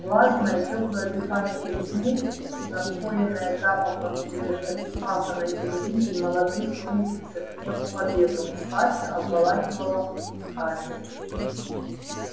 влажное тёплое дыхание весны напоенное запахом свежевспаханной земли и молодых рвущихся к небу побегов сладко обволакивало скарлетт